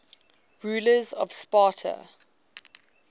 rulers of sparta